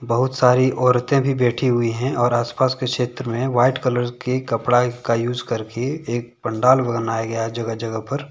बहुत सारी औरतें भी बैठी हुई हैं और आस पास के क्षेत्र में व्हाइट कलर के कपड़ा का यूज़ कर के एक पंडाल बनाया गया है जगह जगह पर।